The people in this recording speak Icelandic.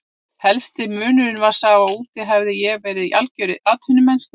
Helsti munurinn var sá að úti hafði ég verið í algjörri atvinnumennsku.